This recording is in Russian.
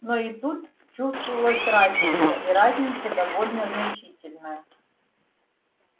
но и тут чувствовалась разница и разница довольно значительная